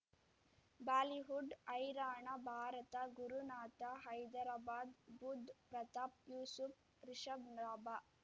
Bollywood ಹೈರಾಣ ಭಾರತ ಗುರುನಾಥ ಹೈದರಾಬಾದ್ ಬುಧ್ ಪ್ರತಾಪ್ ಯೂಸುಫ್ ರಿಷಬ್ ಲಾಭ